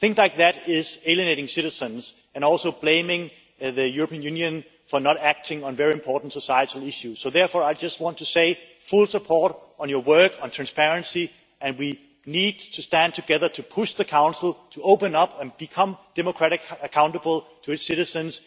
Things like that are alienating citizens and also cause the European Union to be blamed for not acting on very important societal issues. Therefore I just want to say to the Ombudsman full support for your work on transparency and we need to stand together to push the Council to open up and become democratically accountable to its citizens.